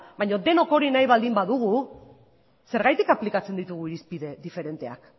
baina denok hori nahi baldin badugu zergatik aplikatzen ditugu irizpide diferenteak